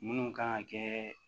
Minnu kan ka kɛ